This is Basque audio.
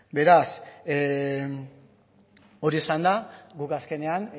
beraz hori esanda guk azkenean